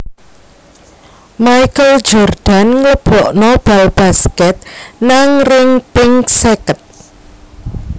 Michael Jordan nglebokno bal basket nang ring ping seket